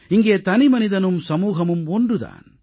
இங்கே தனிமனிதனும் சமூகமும் ஒன்று தான்